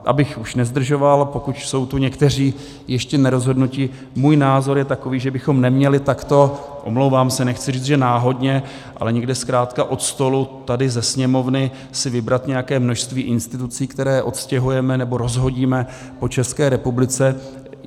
Abych už nezdržoval, pokud jsou tu někteří ještě nerozhodnuti, můj názor je takový, že bychom neměli takto - omlouvám se, nechci říct, že náhodně, ale někde zkrátka od stolu tady ze Sněmovny si vybrat nějaké množství institucí, které odstěhujeme nebo rozhodíme po České republice.